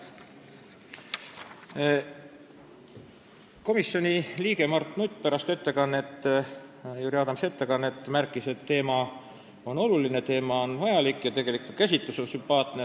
Komisjoni liige Mart Nutt märkis pärast Jüri Adamsi ettekannet, et teema on oluline ja vajalik ning ka käsitlus oli sümpaatne.